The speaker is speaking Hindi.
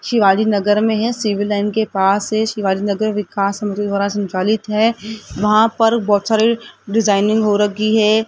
शिवाजी नगर में है सिविल लाइन के पास है शिवाजी नगर विकास द्वारा संचालित है वहां पर बहोत सारे डिजाइनिंग हो रगी है।